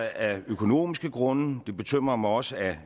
af økonomiske grunde og det bekymrer mig også af